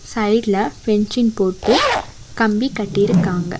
சைடுல ஃபென்சிங் போட்டு கம்பி கட்டிருக்காங்க.